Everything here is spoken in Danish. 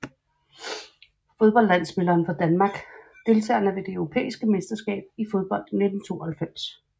Fodboldlandsholdsspillere fra Danmark Deltagere ved det europæiske mesterskab i fodbold 1992